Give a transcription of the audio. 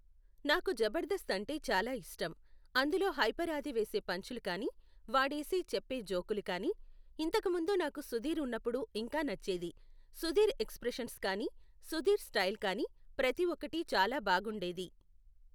నాకు జబర్దస్త్ అంటే చాలా ఇష్టం, అందులో హైపర్ ఆది వేసే పంచులు కానీ వాడేసే చెప్పే జోకులు కానీ ఇంతకుముందు నాకు సుధీర్ ఉన్నపుడు ఇంకా నచ్చేది, సుధీర్ ఎక్సప్రెషన్స్ కానీ సుధీర్ స్టైల్ కానీ ప్రతిఒక్కటి చాలా బాగుండేది.